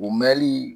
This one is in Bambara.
O mɛnli